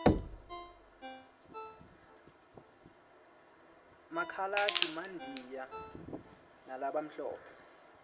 makhaladi mandiya labamhlophe